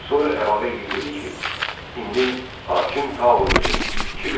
Sonra əlavə edib dedi ki, indi hakim Tao özüdür.